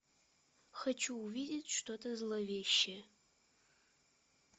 хочу увидеть что то зловещее